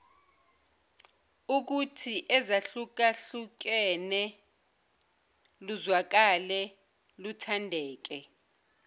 ukuthiezahlukahlukene luzwakale luthandeke